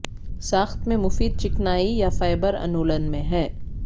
ساخت میں مفید چکنائی یا فائبر انولن میں ہے